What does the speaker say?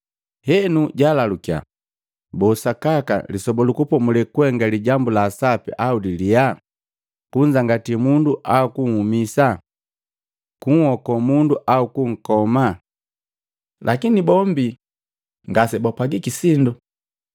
Henu Jaalalukiya, “Boo sakaka lee Lisoba lu Kupomulela kuhenga lijambu la sape au lalyaa, kunzangatii mundu au kunhumisa? Kunhokoo mundu au kunkoma?” Lakini bombi ngasibapwagiki sindo.